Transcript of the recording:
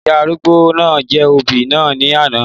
Ìyá arúgbó náà jẹ́ obì náà ní àná